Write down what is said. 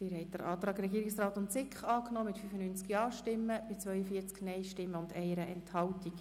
Sie haben den Antrag angenommen mit 134 Ja zu 3 Nein bei 1 Enthaltung.